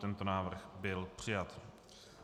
Tento návrh byl přijat.